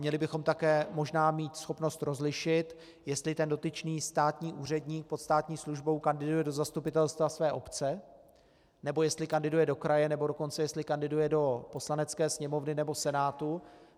Měli bychom také možná mít schopnost rozlišit, jestli ten dotyčný státní úředník pod státní službou kandiduje do zastupitelstva své obce, nebo jestli kandiduje do kraje, nebo dokonce jestli kandiduje do Poslanecké sněmovny nebo Senátu.